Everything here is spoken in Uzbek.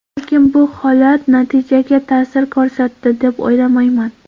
Lekin bu holat natijaga ta’sir ko‘rsatdi, deb o‘ylamayman.